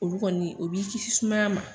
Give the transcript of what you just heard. Olu kɔni o b'i kisi sumaya ma.